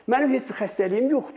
Mənim heç bir xəstəliyim yoxdur.